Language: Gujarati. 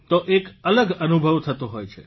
તો એક અલગ અનુભવ થતો હોય છે